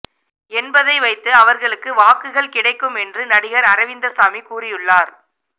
என்பதை வைத்து அவர்களுக்கு வாக்குகள் கிடைக்கும் என்று நடிகர் அரவிந்தசாமி கூறியுள்ளார்